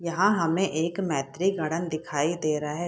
यहां हमें एक मैत्री गार्डन दिखाई दे रहा है।